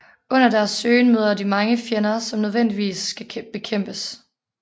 Under deres søgen møder de mange fjender som nødvendigvis skal bekæmpes